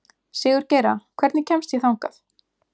Sigurgeira, hvernig kemst ég þangað?